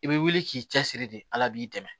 I bɛ wuli k'i cɛsiri de ala b'i dɛmɛ